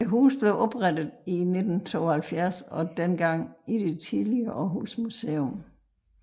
HUSET blev oprettet i 1972 og dengang i det tidligere Aarhus Museum